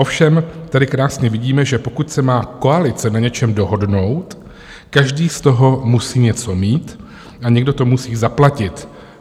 Ovšem tady krásně vidíme, že pokud se má koalice na něčem dohodnout, každý z toho musí něco mít a někdo to musí zaplatit.